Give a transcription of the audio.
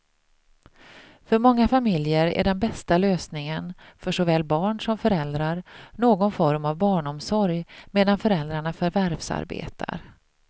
För många familjer är den bästa lösningen, för såväl barn som föräldrar, någon form av barnomsorg medan föräldrarna förvärvsarbetar.